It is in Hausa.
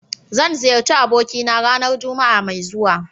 Zan ziyarci abokina ranar Juma'a mai zuwa.